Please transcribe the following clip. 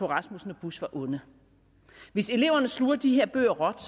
rasmussen og bush var onde hvis eleverne sluger de her bøger råt